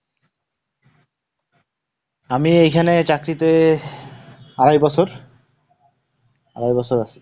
আমি এখানে চাকরিতে আড়াই বছর, আড়াই বছর আছি।